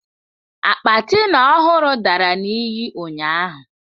Akpa Tina ọhụrụ dara na iyi ụnyahụ.